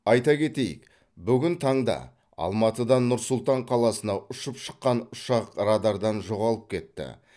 айта кетейік бүгін таңда алматыдан нұр сұлтан қаласына ұшып шыққан ұшақ радардан жоғалып кетті